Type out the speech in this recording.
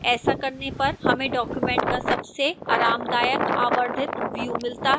ऐसा करने पर हमें document का सबसे आरामदायक आवर्धित व्यू मिलता है